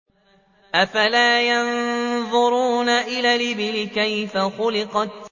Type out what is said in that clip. أَفَلَا يَنظُرُونَ إِلَى الْإِبِلِ كَيْفَ خُلِقَتْ